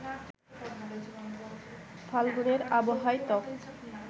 ফাল্গুনের আবহাওয়ায় ত্বক